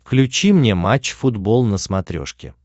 включи мне матч футбол на смотрешке